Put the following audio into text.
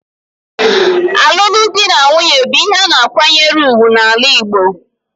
Olulu di na nwunye bu ihe ana akwanyere ugwu n'sls Igbo.